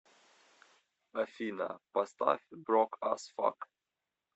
афина поставь брок ас фак